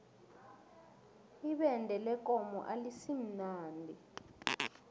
ibende lekomo alisimnandi